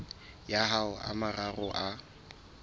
ya ho a mararo a